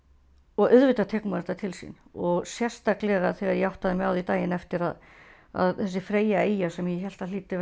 og auðvitað tekur maður þetta til sín og sérstaklega þegar ég áttaði mig á því daginn eftir að að þessi Freyja eyja sem ég hélt að hlyti